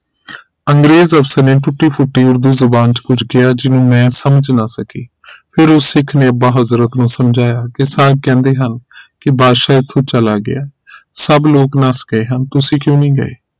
ਅੰਗਰੇਜ਼ ਅਫਸਰ ਨੇ ਟੁੱਟੀ ਫੁੱਟੀ ਉਰਦੂ ਜ਼ੁਬਾਨ ਵਿਚ ਕੁਝ ਕਿਹਾ ਜਿਹਨੂੰ ਮੈਂ ਸਮਝ ਨਾ ਸਕੀ ਫਿਰ ਉਸ ਸਿੱਖ ਨੇ ਅੱਬਾ ਹਜ਼ਰਤ ਨੂੰ ਸਮਝਾਇਆ ਕਿ ਸਰ ਕਹਿੰਦੇ ਹਾਂ ਕਿ ਬਾਦਸ਼ਾਹ ਇਥੋਂ ਚਲਾ ਗਿਆ ਸਭ ਲੋਕ ਨਸ ਗਏ ਹਨ ਤੁਸੀਂ ਕਿਉਂ ਨਹੀਂ ਗਏ